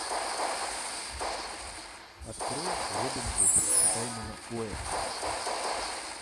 открой робин гуд саймона уэста